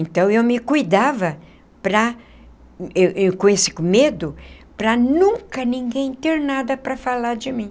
Então, eu me cuidava para com esse medo para nunca ninguém ter nada para falar de mim.